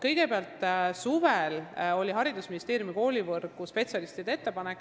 Kõigepealt, suvel tuli haridusministeeriumi koolivõrgu spetsialistidelt ettepanek.